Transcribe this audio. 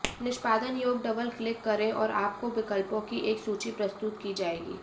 निष्पादन योग्य double click करें और आपको विकल्पों की एक सूची प्रस्तुत की जाएगी